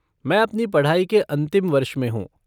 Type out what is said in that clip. मैं अपनी पढ़ाई के अंतिम वर्ष में हूँ।